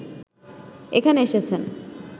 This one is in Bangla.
এখানে এসেছেন